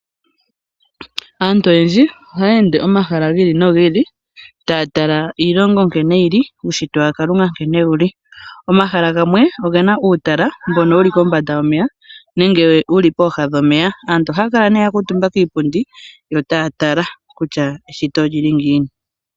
Aantu oyendji ohaya ende omahala gi ili nogi ili taa tala iilongo nkene yi, uushitwe wa Kalunga nkene wu li. Omahala gamwe oge na uutala mbono wu li kombanda yomeya nenge wu li pooha dhomeya. Aantu ohaya kala ya kuutumba kiipundi yo taya tala kutya eshito oli li ngiini.